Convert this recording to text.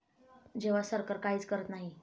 जेव्हा सरकार काहीच करत नाही.